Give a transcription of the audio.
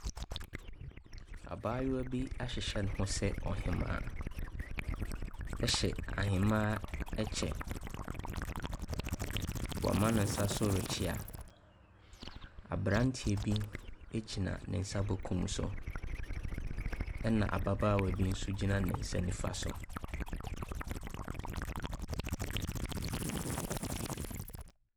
Abaayewa bi ahyehyɛ ne ho te sɛ ɔhemaa ɛhyɛ ahemaa ɛkyɛ. Woama ne nsa so rekyea. Abranteɛ bi egyina ne nsa benkum so ɛna ababaawa bi nso gyina ne nsa nifa so.